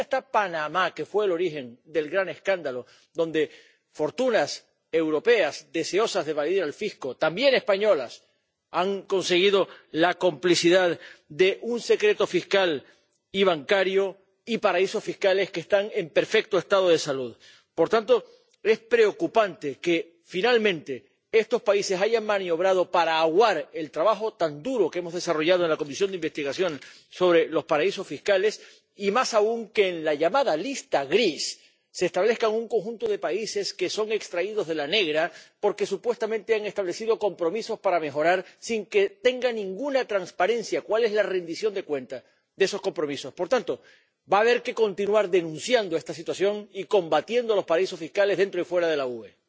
Ni siquiera está Panamá, que fue el origen del gran escándalo —donde fortunas europeas deseosas de evadir al fisco, también españolas, han conseguido la complicidad de un secreto fiscal y bancario—, ni paraísos fiscales que están en perfecto estado de salud. Por tanto, es preocupante que finalmente estos países hayan maniobrado para aguar el trabajo tan duro que hemos desarrollado en la Comisión de Investigación sobre los paraísos fiscales y, más aún, que en la llamada lista gris se establezca un conjunto de países que son extraídos de la negra porque supuestamente han establecido compromisos para mejorar, sin que haya ninguna transparencia sobre la rendición de cuentas de esos compromisos. Por tanto, va a haber que continuar denunciando esta situación y combatiendo los paraísos fiscales dentro y fuera de la UE.